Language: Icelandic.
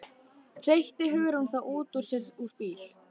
hreytti Hugrún þá út úr sér úr bíl